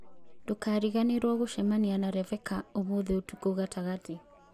Ndũkariganĩrũo gũcemania na Reveca ũmũthĩ ũtukũ gatagatĩ